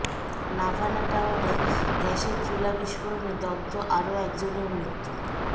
নাভানা টাওয়ারে গ্যাসের চুলা বিস্ফোরণে দগ্ধ আরো একজনের মৃত্যু